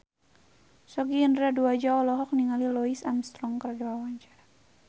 Sogi Indra Duaja olohok ningali Louis Armstrong keur diwawancara